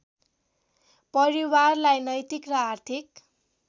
परिवारलाई नैतिक र आर्थिक